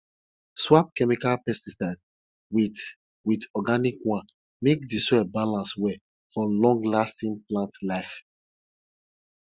swap chemical pesticide with with organic one make di soil balance well for longlasting plant life